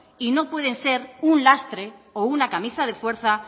y no puede ser un lastre o una camisa de fuerza